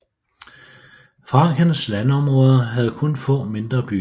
Frankens landområder havde kun få mindre byer